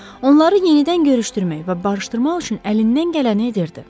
Onları yenidən görüşdürmək və barışdırmaq üçün əlindən gələni edirdi.